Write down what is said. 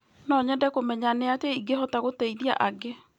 No nyende kũmenya nĩ atĩa ingĩhota gũteithia angĩ.